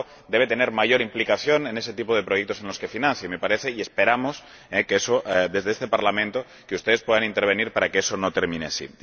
El Banco debe tener una mayor implicación en ese tipo de proyectos que financia y me parece ―y esperamos― que desde este Parlamento ustedes puedan intervenir para que eso no termine así.